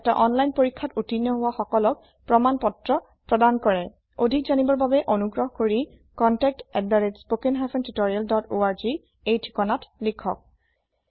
এটা অনলাইন পৰীক্ষাত উত্তীৰ্ণ হোৱা সকলক প্ৰমাণ পত্ৰ প্ৰদান কৰে অধিক জানিবৰ বাবে অনুগ্ৰহ কৰি contactspoken tutorialorg এই ঠিকনাত লিখক